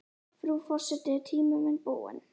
Frú forseti er tíminn minn búinn?